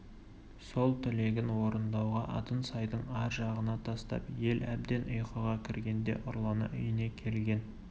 сол тілегін орындауға атын сайдың ар жағына тастап ел әбден ұйқыға кіргенде ұрлана үйіне келген